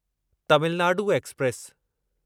Tamil Nadu express